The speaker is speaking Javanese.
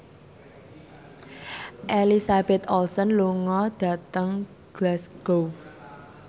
Elizabeth Olsen lunga dhateng Glasgow